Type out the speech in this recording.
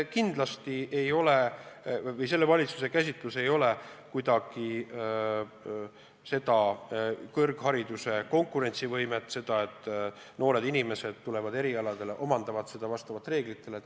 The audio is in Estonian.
Kindlasti ei ole selle valitsuse soov kuidagi meie kõrghariduse konkurentsivõimet vähendada ja takistada seda, et noored inimesed tulevad siia õppima, omandavad eriala vastavalt reeglitele.